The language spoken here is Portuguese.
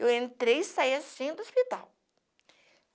Eu entrei e saí assim do hospital.